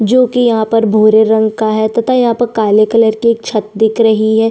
जोकि यहाँ पर भूरे रंग का है तथा यहाँ पर काले कलर की एक छत दिख रही हैं।